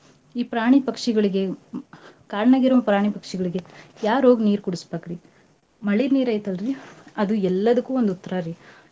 ಈ ಪ್ರಾಣಿ ಪಕ್ಷಿಗಳಿಗೆ ಕಾಡ್ನಾಗಿರೋ ಪ್ರಾಣಿ ಪಕ್ಷಿಗಳಿಗೆ ಯಾರೋಗ್ ನೀರ್ಕುಡಸ್ಬಕ್ರಿ. ಮಳಿನೀರೈತಲ್ರಿ ಅದು ಇದೆಲ್ಲದಕ್ಕೂ ಒಂದ್ ಉತ್ರಾರಿ.